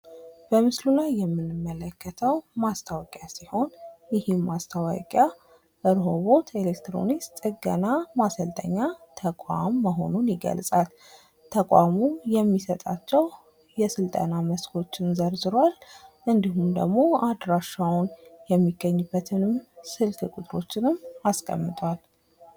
በምስሉ ላይ የምንመለከተው ማስታወቂያ ሲሆን ይህም ማስታወቂያ ሮኆቦት ኤሌክትሮኒክስ ጥገና ማሰልጠኛ ተቋም መሆኑን ይገልጻል። ተቋሙ የሚሰጣቸው የስልጠና መስኮችን ዘርዝሯል። እንድሁም ደግሞ አድራሻውን የሚገኝበትን ስልክ ቁጥሮችንም አስቀምጧል።